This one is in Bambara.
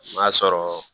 N'a sɔrɔ